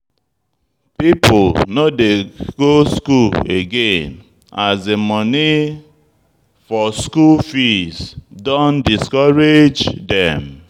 People no dey go school again as de monie for school fees don discourage them.